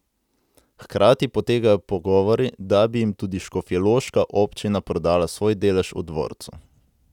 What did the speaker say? Hkrati potekajo pogovori, da bi jim tudi škofjeloška občina prodala svoj delež v dvorcu.